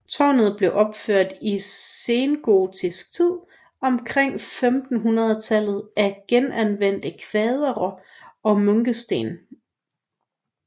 Tårnet blev opført i sengotisk tid omkring 1500 af genanvendte kvadre og munkesten